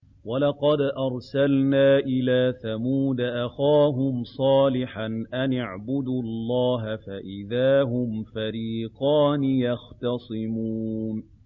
وَلَقَدْ أَرْسَلْنَا إِلَىٰ ثَمُودَ أَخَاهُمْ صَالِحًا أَنِ اعْبُدُوا اللَّهَ فَإِذَا هُمْ فَرِيقَانِ يَخْتَصِمُونَ